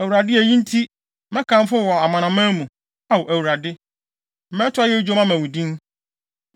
Awurade eyi nti, mɛkamfo wo wɔ amanaman mu, Ao Awurade. Mɛto ayeyi dwom ama wo din.